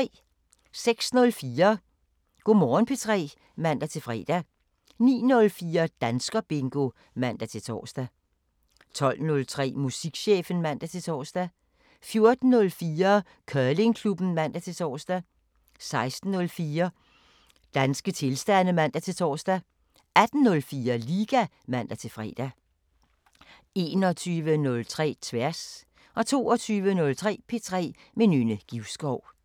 06:04: Go' Morgen P3 (man-fre) 09:04: Danskerbingo (man-tor) 12:03: Musikchefen (man-tor) 14:04: Curlingklubben (man-tor) 16:04: Danske tilstande (man-tor) 18:04: Liga (man-fre) 21:03: Tværs 22:03: P3 med Nynne Givskov